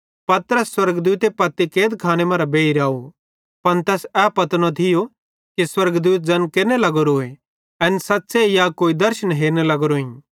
पतरस स्वर्गदूत पत्पती कैदखाने मरां बेइर आव पन तैस ए पतो न थियो कि स्वर्गदूते ज़ैन केरने लगोरोए एन सच़्च़े या कोई दर्शन हेरने लगोरोइं